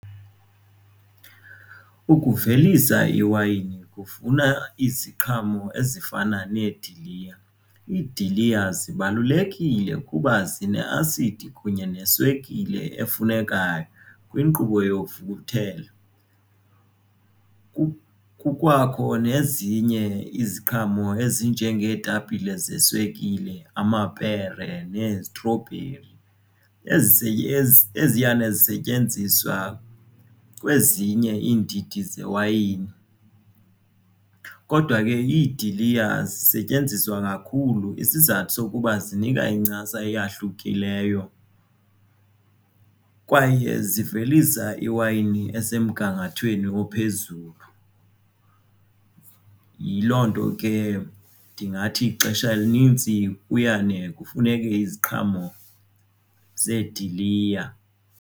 Ukuvelisa iwayini kufuna iziqhamo ezifana nediliya. Iidiliya zibalulekile kuba zineasidi kunye neswekile efunekayo kwinkqubo youkuvuthela. Kukwakho nezinye iziqhamo ezinje ngeetapile zeswekile amapere neezitrobheri eziyane zisetyenziswa kwezinye iindidi zewayini. Kodwa ke iidiliya zisetyenziswa kakhulu isizathu sokuba zinika incasa eyahlukileyo kwaye zivelisa iwayini esemgangathweni ophezulu. Yiloo nto ke ndingathi ixesha elinintsi uyane kufuneke iziqhamo zeediliya